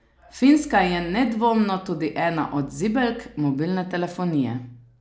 Finska je nedvomno tudi ena od zibelk mobilne telefonije.